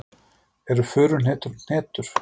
Eru furuhnetur hnetur?